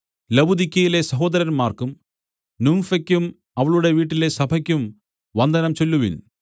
ലവുദിക്യയിലെ സഹോദരന്മാർക്കും നുംഫെയ്ക്കും അവളുടെ വീട്ടിലെ സഭയ്ക്കും വന്ദനം ചൊല്ലുവിൻ